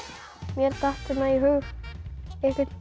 mér datt í hug einhvern